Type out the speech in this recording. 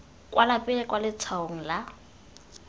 kwa pele kwa letshwaong la